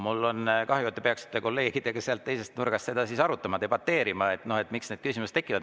Mul on kahju, aga te peaksite kolleegidega sealt teisest nurgast seda siis arutama, debateerima, miks need küsimused tekivad.